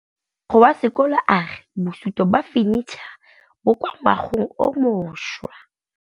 Mogokgo wa sekolo a re bosutô ba fanitšhara bo kwa moagong o mošwa.